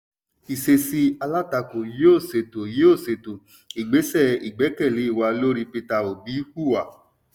ìṣesí alátakó yóò ṣètò yóò ṣètò ìgbésẹ̀ ìgbékèlé wà lórí peter obi hùwà.